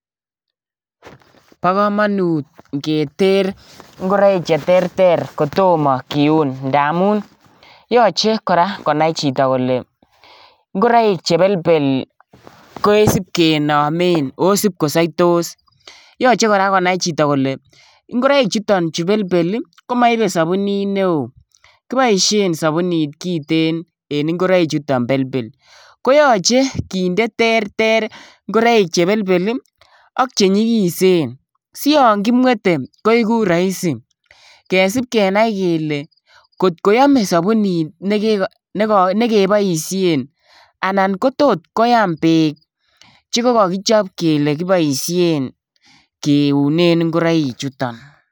Bokomonut ng'eter ing'oroik cheterter kotomo kiun ndamun yoche kora konai chito kole ng'roik chebelbel kosipkinomen oo sip kosoitos, yoche konai chito konai kole ichechuton chuu belbel komoibe sobunit neo, kiboishen subunit kiten en ing'oroichuton chuu belbel, koyoche kinde terter ing'oroik chebelbel ak chenyikisen siong'imwete koiku roisi kesip kenai kelee kotkoyome sobunit nekiko nekeboishen anan ko tot koyam beek chekokokichob kiunen ing'oroichuton.